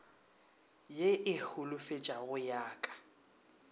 ye e holofetšago ya ka